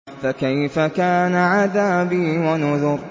فَكَيْفَ كَانَ عَذَابِي وَنُذُرِ